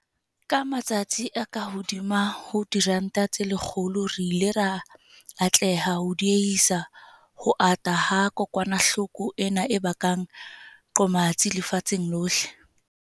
Ka matsatsi a kahodimo ho 120, re ile ra atleha ho die-hisa ho ata ha kokwanahloko ena e bakang qomatsi lefatsheng lohle.